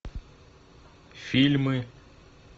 фильмы